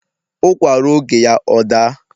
ụkwa rụọ oge ya ọ daa